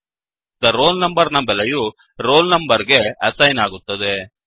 the roll number ನ ಬೆಲೆಯು roll number ಗೆ ಅಸೈನ್ ಆಗುತ್ತದೆ